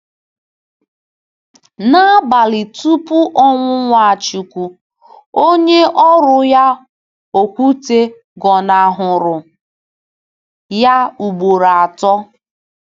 N'abalị tupu ọnwụ Nwachukwu, onye ọrụ ya Okwute gọnahụrụ ya ugboro atọ.